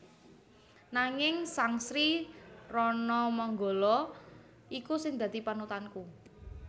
Nanging sang Sri Ranamanggala iku sing dadi panutanku